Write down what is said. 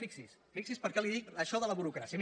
fixi’s fixi’s per què li dic això de la burocràcia